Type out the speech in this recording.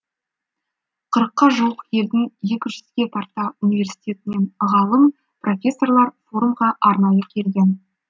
қырыққа жуық елдің екі жүзге тарта университетінен ғалым профессорлар форумға арнайы келген